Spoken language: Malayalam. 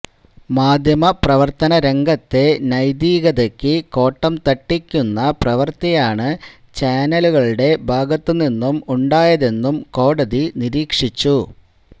മാധ്യമപ്രവർത്തന രംഗത്തെ നൈതികതയ്ക്ക് കോട്ടം തട്ടിക്കുന്ന പ്രവൃത്തിയാണ് ചാനലുകളുടെ ഭാഗത്ത് നിന്നും ഉണ്ടായതെന്നും കോടതി നിരീക്ഷിച്ചു